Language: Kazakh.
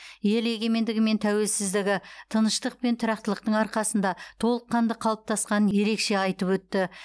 ел егемендігі мен тәуелсіздігі тыныштық пен тұрақтылықтың арқасында толыққанды қалыптасқанын ерекше айтып өтті